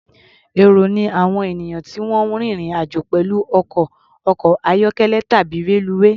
Èrò ni àwọn ènìyàn tí wọ́n ń rín ìrìn-àjò pẹ̀lú ọkọ̀, ọkọ̀-ayọ́kẹ́lẹ̀ tàbí reluwé.